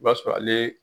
I b'a sɔrɔ ale